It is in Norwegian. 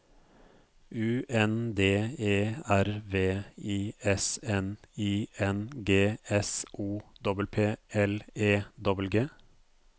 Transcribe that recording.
U N D E R V I S N I N G S O P P L E G G